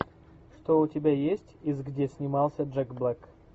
что у тебя есть из где снимался джек блек